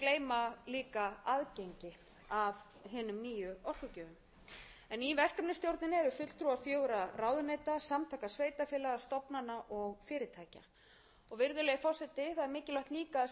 mikilvægt líka að segja frá því að nefndin eða stýrihópurinn um orkuskipta áætlun hefur starfað líka í miklu samráði við aðila sem eru að koma að þessum málum frá ýmsum sviðum og hafa verið haldnir tveir opnir fundir